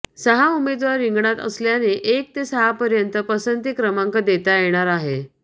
सहा उमेदवार रिंगणात असल्याने एक ते सहापर्यंत पसंती क्रमांक देता येणार आहे